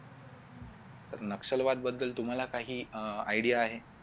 तर नक्षलवाद बद्दल तुम्हाला काही अह आयडिया आहे